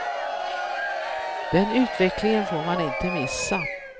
Den utvecklingen får man inte missa.